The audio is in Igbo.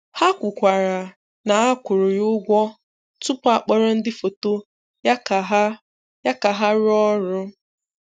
Ha kwukwara na a kwụrụ ya ụgwọ tupu a kpọrọ ndị foto ya ka ha ya ka ha rụọ ọrụ.